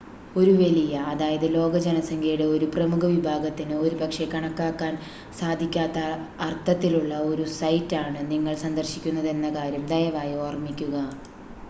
ഒരു വലിയ അതായത് ലോകജനസംഖ്യയുടെ ഒരു പ്രമുഖ വിഭാഗത്തിന് ഒരുപക്ഷെ കണക്കാക്കാൻ സാധിക്കാത്ത അർത്ഥത്തിലുള്ള ഒരു സൈറ്റ് ആണ് നിങ്ങൾ സന്ദർശിക്കുന്നതെന്ന കാര്യം ദയവായി ഓർമ്മിക്കുക